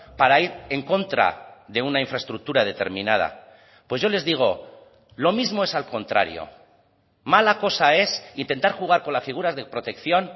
para ir en contra de una infraestructura determinada pues yo les digo lo mismo es al contrario mala cosa es intentar jugar con las figuras de protección